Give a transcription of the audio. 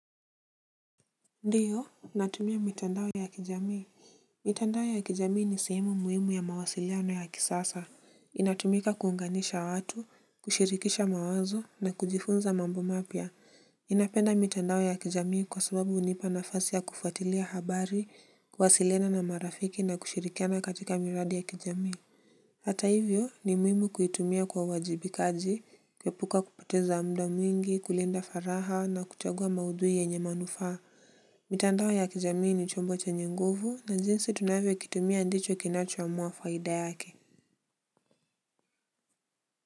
Ndiyo, natumia mitandao ya kijamii. Mitandao ya kijamii ni sehemu muhimu ya mawasiliano ya kisasa. Inatumika kuunganisha watu, kushirikisha mawazo na kujifunza mambo mapya ninapenda mitandao ya kijamii kwa sababu hunipa nafasi ya kufuatilia habari, kuwasiliana na marafiki na kushirikiana katika miradi ya kijamii. Hata hivyo ni muhimu kuitumia kwa uwajibikaji, kuepuka kupoteza muda mwingi, kulinda faragha na kuchagua maudhui yenye manufaa. Mitandao ya kijamii ni chombo chenye nguvu na jinsi tunavyo kitumia ndicho kinachoamua faida yake.